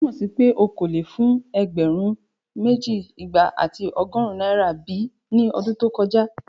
Ṣe o tumọ si pe o ko le fun ẹgbẹrun meji, igba ati ọgọrun naira bi ni ọdun to koja?